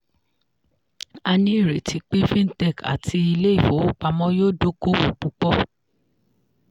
a ní ìrètí pé fintech àti ilé ifowopamọ́ yóò dókòwò púpọ̀.